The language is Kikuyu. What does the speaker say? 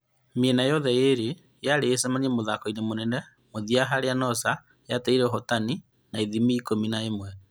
Mĩena yothe yeerĩ yarĩ ĩcemanie mũthako mũnene wa mũthia harĩa Noosa yateire ahotani na ithimi ikũmĩ na ĩmwe